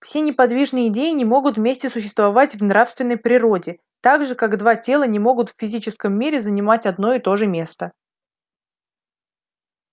все неподвижные идеи не могут вместе существовать в нравственной природе так же как два тела не могут в физическом мире занимать одно и то же место